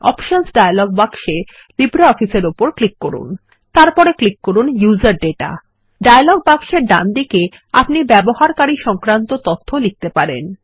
options dialog বাক্সতে LibreOffice এর উপর ক্লিক করুন এবং তারপর ক্লিক করুন উসের দাতা ডায়লগ বাক্সের ডান দিকে আপনি ব্যবহারকারী সংক্রান্ত তথ্য লিখতে পারেন